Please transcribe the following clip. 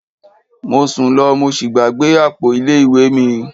Mo sun lọ mo sí gbàgbé àpò ilé ìwé mi.